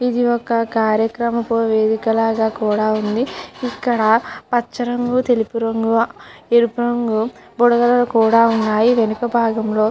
ఇది ఒక కార్యక్రమపు లాగా కూడా ఉంది. ఇక్కడ పచ్చ రంగు తెలుపు రంగు ఎరుపు రంగు బుడగలు ఉన్నాయి. వెనుక బాగం లో --